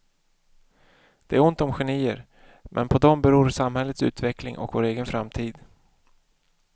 Det är ont om genier, men på dem beror samhällets utveckling och vår egen framtid.